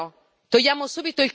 Allora sbrigatevi!